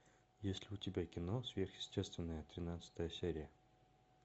есть ли у тебя кино сверхъестественное тринадцатая серия